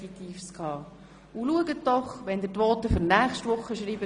Achten Sie doch bitte darauf, wenn Sie die Voten für nächste Woche schreiben.